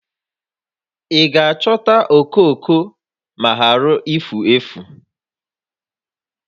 Ị ga-achọta okooko ma ghara ifu efu?